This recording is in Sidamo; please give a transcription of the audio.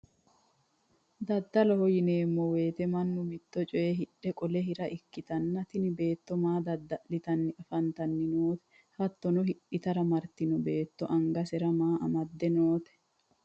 daddaloho yineemmo wote mannu mitto coye hidhe qole hira ikkitanna, tini beetto maa dadda'litanni afantanni noote? hattono hidhate martino beetto angasera maa amadde noote?